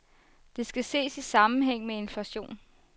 Det skal ses i sammenhæng med inflationen.